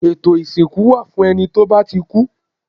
Ètò ìsìnkú wà fún ẹni tó bá ti kú